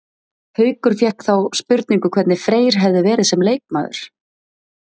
Haukur fékk þá spurningu hvernig Freyr hefði verið sem leikmaður?